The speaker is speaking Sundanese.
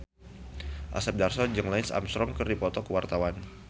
Asep Darso jeung Lance Armstrong keur dipoto ku wartawan